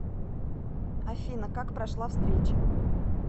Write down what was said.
афина как прошла встреча